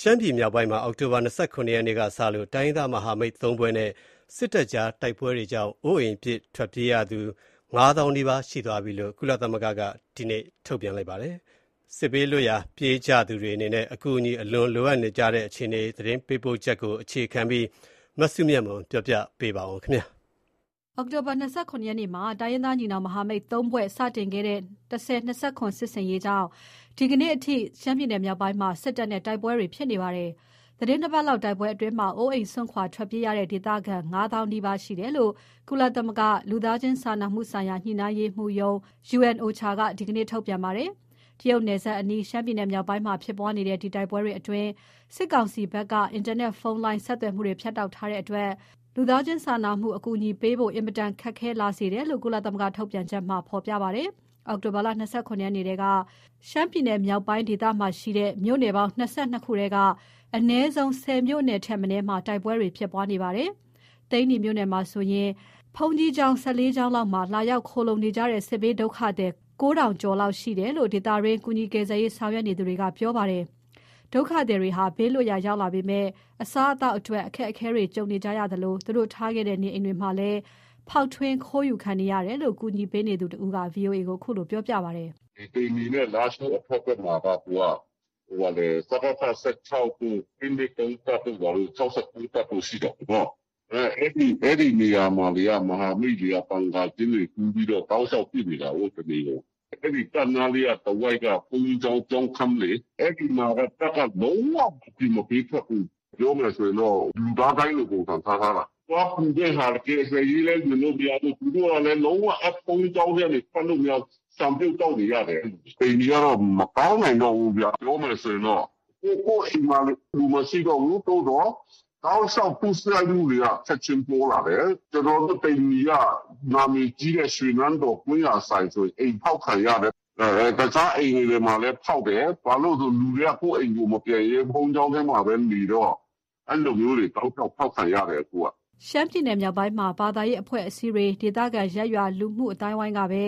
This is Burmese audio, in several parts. ရှမ်းပြည်မြောက်ပိုင်းမှာ အောက်တိုဘာ ၂၇ နေ့ကစလို့ တိုင်းရင်းသား မဟာမိတ် ၃ ဖွဲ့နဲ့ စစ်တပ်ကြား တိုက်ပွဲတွေကြောင့် အိုးအိမ်ပစ် ထွက်ပြေးရသူ ၅ သောင်းနီးပါးရှိသွားပြီလို့ ကုလသမဂ္ဂက ဒီနေ့ပြောကြားပါတယ်။ စစ်ဘေးလွတ်ရာ ပြေးကြသူတွေအနေနဲ့ အကူအညီ အလွန်လိုအပ်နေကြတဲ့ အခြေအနေ သတင်းပေးပို့ချက်ကို အခြေခံပြီး မစုမြတ်မွန်က တင်ပြပါမယ်။ အောက်တိုဘာ ၂၇ နေ့မှာ တိုင်းရင်းသားညီနောင်မဟာမိတ် ၃ ဖွဲ့ စတင်ခဲ့တဲ့ ၁၀၂၇ စစ်ဆင်ရေးကြောင့် ဒီနေ့အထိ ရှမ်းပြည်မြောက်ပိုင်းမှာ စစ်တပ်နဲ့ တိုက်ပွဲတွေ ဖြစ်နေပါတယ်။ သီတင်း ၂ ပတ်လောက်တိုက်ပွဲတွေအတွင်း အိုးအိမ်စွန့်ခွါ ထွက်ပြေးရတဲ့ ဒေသခံ ငါးသောင်းနီးပါးရှိတယ်လို့ ကုလသမဂ္ဂ လူသားချင်းစာနာမှုဆိုင်ရာ ညှိနှိုင်းရေးမှူးရုံး က ဒီနေ့ပြောကြားပါတယ်။ တရုတ်နယ်စပ်အနီး၊ ရှမ်းပြည် မြောက်ပိုင်းမှာ ဖြစ်ပွားနေတဲ့ ဒီတိုက်ပွဲတွေ အတွင်း စစ်ကောင်စီ ဘက်က အင်တာနက်ဖုန်းလိုင်း ဆက်သွယ်မှုတွေ ဖြတ်တောက်ထား တဲ့အတွက် လူသားချင်းစာနာမှု အကူအညီပေးဖို့ အင်မတန် ခက်လာစေတယ်လို့ ကုလထုတ်ပြန်ချက်မှာ ဖေါ်ပြပါတယ်။ အောက်တိုဘာ ၂၇ ရက်နေ့ထဲက ရှမ်းပြည်မြောက်ပိုင်းဒေသမှာရှိတဲ့ မြို့နယ်ပေါင်း ၂၂ ခုထဲက အနည်းဆုံး ၁၀ မြို့ထက် မနည်းမှာ တိုက်ပွဲတွေ ဖြစ်ပွားနေပါတယ်။ သိန္နီမြို့နယ်ထဲမှာဆိုရင် ဘုန်းကြီးကျောင်း ၁၄ ကျောင်း လောက်မှာ လာရောက် ခိုလှုံနေကြတဲ့ စစ်ဘေးဒုက္ခသည် ၉ ထောင်ကျော်လောက် ရှိတယ်လို့ ဒေသတွင်း ကူညီကယ်ဆယ်ရေး ဆောင်ရွက်နေသူတွေက ပြောပြပါတယ်။ ဒုက္ခသည်တွေဟာ ဘေးလွတ်ရာရောက်လာပေမဲ့အစားအသောက်အတွက် အခက်အခဲတွေ ကြုံနေကြသလို သူတို့ထားခဲ့တဲ့ နေအိမ်တွေမှာလည်း ဖေါက်ထွင်း ခိုးယူခံနေရတယ်လို့ အကူညီပေးနေသူ တဦးက ဗွီအိုအေကိုခုလိုပြော ပြပါတယ်။ "သိန္နီနဲ့လားရှိုးဘက် အတက်မှာက စကဖ ၁၆တို့၊ ၂၂၃ တို့ ၆၉ တပ်တို့ရှိတယ်လေ။ အဲနားမှာ မဟာမိတ်တပ်တွေက ဘန်ကာကျင်းတွေတူးပြီး တောက်လျှောက်တနေကုန် ပစ်နေတာကို။ အဲနားတဝိုက်က ဘုန်းကြီးကျောင်း ကျောင်းခန်းလေ။ အဲဒီမှာ တပ်ကနေ လူတွေကို ပေးမထွက်ဘူး။ ပြောမယ်ဆို လူသားဒိုင်းလို ပုံစံထားထားတာ။ သွားကူတဲ့ ကယ်ဆယ်ရေးလည်း လုပ်မရ။ ဘုန်းကြီးကျောင်းထဲလည်း ထွက်မရနဲ့ ဆန်ပြုတ် သောက်နေရတယ်။ သိန္နီကတော့ မကောင်းနိုင် တော့ဘူး။ ပြောမယ်ဆိုရင် အိမ်မှာ လူမရှိတော့ဘူး သို့သော် တောက်လျှောက်ဒုစရိုက်မှုတွေက ချက်ချင်းပေါ လာတယ်။ ကျနော်တို့သိန္နီက နာမည်ကြီးတဲ့ ရွှေနန်းတော် ကွမ်းဆိုင်ဆို အိမ်ဖောက်ခံရတယ်။ တခြားအိမ် တွေလည်း ဖောက်တယ်။ ဘာလို့ဆိုလူတွေကကိုယ့်အိမ်ကို မပြန်ရဲဘဲ ဘုန်းကြီးကျောင်းထဲ မှာဘဲနေတော့ အဲလို တောက်လျှောက် ဖောက်ခံနေရတယ်အခုကလေ။" ရှမ်းပြည်နယ်မြောက်ပိုင်းမှာ ဘာသာရေး အဖွဲ့အစည်းတွေ၊ ဒေသခံ ရပ်ရွာ လူမှုအသိုင်းအဝိုင်းကပဲ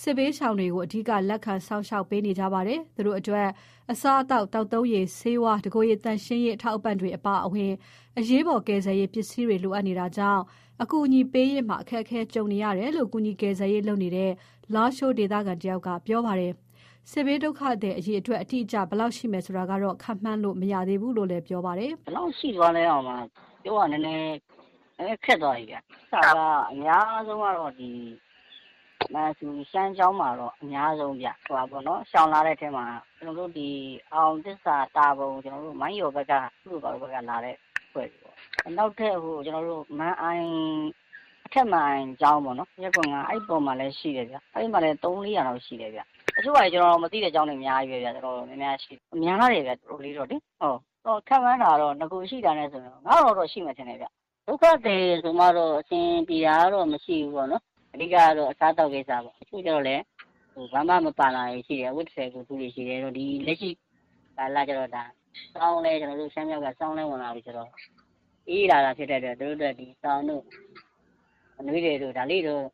စစ်ဘေးရှောင်တွေကို အဓိက လက်ခံ စောင့်ရှောက် ပေးနေကြပါတယ်။ သူတို့အတွက် အစားအစာ၊ သောက်သုံးရေ၊ ဆေးဝါး၊ တကိုယ်ရေ သန့်ရှင်းရေး အထောက်အပံ့တွေ အပါအဝင် အရေးပေါ် ကယ်ဆယ်ရေး ပစ္စည်းတွေ လိုအပ်နေတာကြောင့် အကူညီပေးရာမှာ အခက်ခဲကြုံနေရ တယ်လို့ ကူညီကယ်ဆယ်ရေးလုပ်နေတဲ့ လားရှိုး ဒေသခံတဦးက ပြောပါတယ်။ စစ်ဘေးဒုက္ခသည် အရေအတွက် အတိအကျ ဘယ်လောက်ရှိမယ်ဆိုတာကတော့ ခန့်မှန်းလို့ မရဘူးလို့ ပြောပါတယ်။ "ဘယ်လောက်ရှိသွားလဲဆိုတာတော်တော်ပြောရခက်သွားတယ်။ အများဆုံးကတော့ မန်ဆူ ရှမ်းကျောင်းမှာ အများဆုံးဘဲဗျ. ရှောင်လာတဲ့အထဲမှာပေါ့။ အောင်သစ္စာ တာပေါ် မိုင်းရော်ဘက်က လာတဲ့သူတွေဗျ။ နောက် ထပ်မန်အိုင်ဘက် အထက်မန်အိုင်ကျောင်းမှာလည်းရှိတယ်ဗျ။ အဲမှာလည်း ၃၊၄ရာလောက်ရှိတယ်ဗျ။ တချို့ဟာ တွေကျနော်မသိတာတွေအများကြီးဘဲ များတယ်ဗျ။ ကျနော် ခန့်မှန်းတာတော့ နဂိုရှိတာနဲ့ဆို ၅၀၀၀ လောက် တော့ရှိမယ်ဗျ။ ဒုက္ခသည်ဆိုမှတော့ အဆင်ပြေတာတော့ မရှိဘူးပေါ့ဗျာ။ အဓိကကတော့ အစားအသောက်ပေါ့။ တချို့ကျတော့လည်း ဘာမှမပါလာဘူး။. အဝတ်တထည်ကိုယ်တခု ရယ်ပေါ့။ ကျနော်တို့ရှမ်းမြောက်က ဆောင်း လဲဝင်လာပြီ ဆိုတော့ အေးလာတာဖြစ်လို့ သူတို့အတွက်စောင်တို့အနွေးထည်တို့ ဘာတို့တော့ ဒါလေးတွေတော့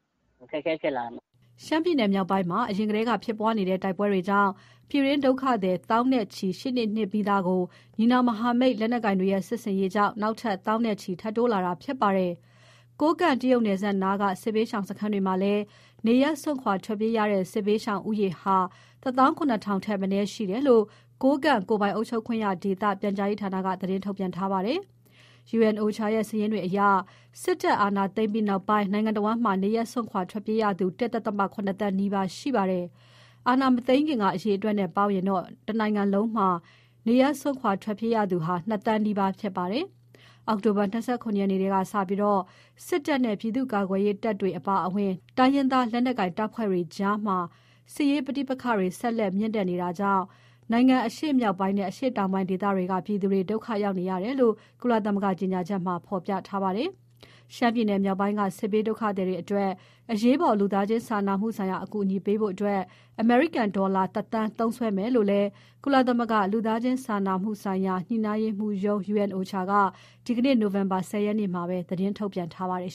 အခက်အခဲဖြစ်လာတယ်။" ရှမ်းပြည်မြောက်ပိုင်းမှာ အရင်ကတည်းက ဖြစ်ပွါးနေတဲ့ တိုက်ပွဲတွေကြောင့် ပြည်တွင်းဒုက္ခသည် သောင်းချီရှိနေနှင့်ပြီးသားကို ညီနောင်မဟာမိတ်လက်နက်ကိုင်တွေရဲ့ စစ်ဆင်ရေးကြောင့် နောက်ထပ် သောင်းနဲ့ချီ ထပ်တိုး လာတာဖြစ်ပါတယ်။ ကိုးကန့် တရုတ်နယ်စပ်နားက စစ်ဘေးရှောင်စခန်းတွေ မှာလည်း နေရပ်စွန့်ခွာပြေးရတဲ့ စစ်ရှောင်ဦးရေဟာ ၁၇၀၀၀ ထက် မနည်းရှိတယ်လို့ ကိုးကန့်ကိုယ်ပိုင်အုပ်ချုပ်ခွင့်ရ ဒေသ ပြန်ကြားရေးဌာနက သတင်း ထုတ်ပြန် ထားပါတယ်။ UNOCHA ရဲ့ စာရင်းတွေအရ စစ်တပ် အာဏာသိမ်းပြီးနောက်ပိုင်း နိုင်ငံတစ်ဝန်းမှာ နေရပ်စွန့်ခွာ ထွက်ပြေးနေရသူ ၁.၇ သန်းနီးပါးရှိနေပါတယ်။ အာဏာမသိမ်းခင်က အရေအတွက်နဲ့ပေါင်းရင် နိုင်ငံ တစ်ဝန်းမှာ နေရပ်စွန့်ခွာသူက နှစ်သန်းနီးပါး ဖြစ်ပါတယ်။ အောက်တိုဘာလ ၂၇ ရက် နေ့က စတင်ပြီး မြန်မာစစ်တပ်နဲ့ ပြည်သူ့ကာကွယ်ရေး တပ်ဖွဲ့တွေ အပါအဝင် တိုင်းရင်းသား လက်နက်ကိုင် တပ်ဖွဲ့တွေ အကြား စစ်ရေးပဋိပက္ခတွေ ဆက်လက်မြင့်တက် နေတာကြောင့် နိုင်ငံအရှေ့မြောက်ပိုင်းနဲ့ အရှေ့တောင်ပိုင်း ဒေသတွေကပြည်သူတွေ ဒုက္ခ ရောက်နေရ တယ်လို့ ကုလသမဂ္ဂ ကြေညာချက်မှာ ဖေါ်ပြထားပါတယ်။ ရှမ်းပြည်နယ်မြောက်ပိုင်းက စစ်ဘေးဒုက္ခသည်တွေအတွက် အရေးပေါ် လူသားချင်းစာနာမှု ဆိုင်ရာ အကူအညီပေးဖို့ အမေရိကန်ဒေါ်လာ ၁ သန်း သုံးစွဲသွားမယ်လို့ ကုလသမဂ္ဂ လူသားချင်းစာနာမှု ဆိုင်ရာ ပေါင်းစပ်ညှိနှိုင်းရေးရုံး က ဒီနေ့ နိုဝင်ဘာလ ၁၀ ရက်နေ့မှာပဲ သတင်းထုတ်ပြန်ထားပါတယ်